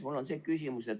Mul on see küsimus.